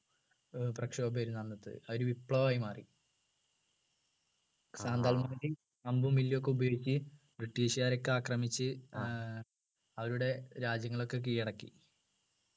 ഏർ പ്രക്ഷോഭമായിരുന്നു അന്നത്തെ അതൊരു വിപ്ലവമായി മാറി അമ്പും വില്ലും ഒക്കെ ഉപയോഗിച്ച് british കാരെയൊക്കെ ആക്രമിച്ച് ഏർ അവരുടെ രാജ്യങ്ങളൊക്കെ കീഴടക്കി